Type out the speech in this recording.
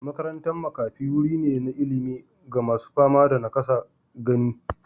Makarantar makafi wuri ne na ilimi ga masu fama da nakasar gani.